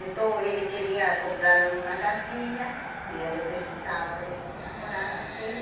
Então ele queria comprar uma casinha e ele precisava de ir a morar dele.